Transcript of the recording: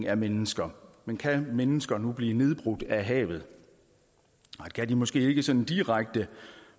af mennesker men kan mennesker nu blive nedbrudt af havet det kan de måske ikke sådan direkte